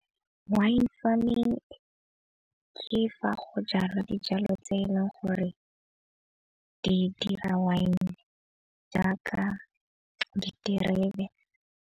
Wine farming ke fa go jalwa dijalo tse e leng gore di dira wine jaaka diterebe.